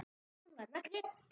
Hún var nagli.